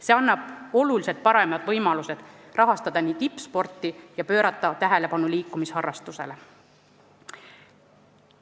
See annab oluliselt paremad võimalused rahastada tippsporti ja pöörata tähelepanu liikumisharrastusele.